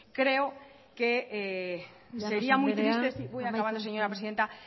llanos andrea amaitzen joan voy acabando señora presidenta